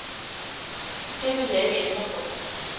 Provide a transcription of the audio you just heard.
Det vil jeg ikke ændre på.